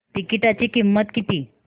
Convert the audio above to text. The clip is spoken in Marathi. तिकीटाची किंमत किती